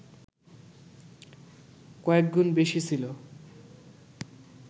কয়েকগুণ বেশি ছিল